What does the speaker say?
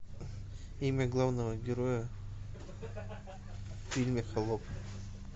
имя главного героя в фильме холоп